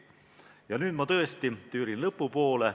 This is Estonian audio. Ja nüüd ma tõesti tüürin lõpu poole.